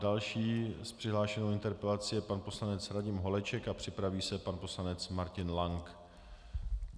Další s přihlášenou interpelací je pan poslanec Radim Holeček a připraví se pan poslanec Martin Lank.